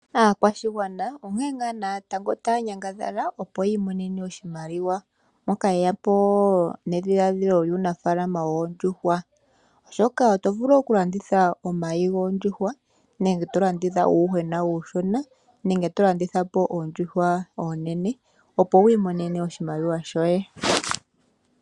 Aakwashigwana onkene natango taya nyangadhala opo yiimonene oshimaliwa. Oyeya po nedhiladhilo lyuunafaalama woondjuhwa oshoka oto vulu okulanditha omayi goondjuhwa nenge tolanditha uuyuhwena uushona nenge tolanditha po oondjuhwa oonene opo wu imonene oshimaliwa shoye.